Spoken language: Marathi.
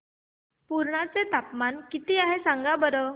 पुर्णा चे तापमान किती आहे सांगा बरं